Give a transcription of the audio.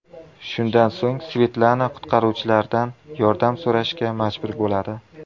Shundan so‘ng Svetlana qutqaruvchilardan yordam so‘rashga majbur bo‘ladi.